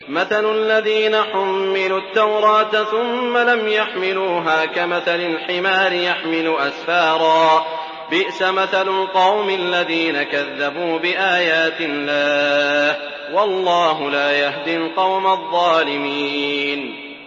مَثَلُ الَّذِينَ حُمِّلُوا التَّوْرَاةَ ثُمَّ لَمْ يَحْمِلُوهَا كَمَثَلِ الْحِمَارِ يَحْمِلُ أَسْفَارًا ۚ بِئْسَ مَثَلُ الْقَوْمِ الَّذِينَ كَذَّبُوا بِآيَاتِ اللَّهِ ۚ وَاللَّهُ لَا يَهْدِي الْقَوْمَ الظَّالِمِينَ